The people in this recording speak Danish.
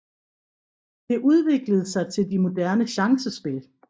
Det udviklede sig til de moderne chancespil